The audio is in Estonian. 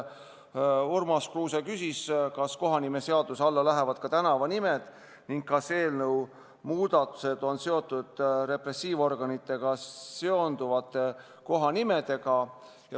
Urmas Kruuse küsis, kas kohanimeseaduse alla lähevad ka tänavanimed ning kas eelnõu muudatused on seotud repressiivorganitega seonduvate kohanimedega.